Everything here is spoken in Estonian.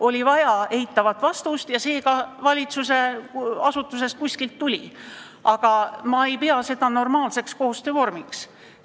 Oli vaja eitavat vastust ja see ka valitsusasutusest kuskilt tuli, aga ma ei pea seda normaalseks koostöövormiks.